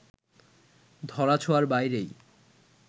ধরাছোঁয়ার বাইরেই